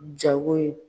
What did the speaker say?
Jago ye